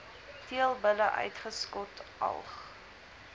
teelbulle uitgeskot alg